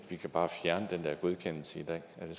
vi kan bare fjerne den der godkendelse i dag er det